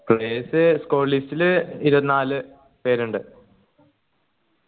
players squad list ൽ ഇരുപത്തിനാല് പേരുണ്ട്